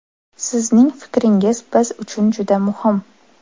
Sizning fikringiz biz uchun juda muhim!